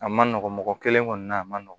A man nɔgɔn mɔgɔ kelen kɔni na a man nɔgɔn